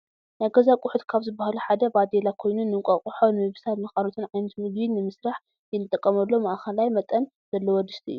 ናይ ገዛ አቁሑት ካብ ዝበሃሉ ሓደ ባደላ ኮይኑ ንእንቋቝሖ ንምብሳል ንካልኦትን ዓይነት ምግቢ ንምስሪሒ እንጥቀመሉ ማእከላይ መጠን ዘለዎ ድስቲ እዩ ።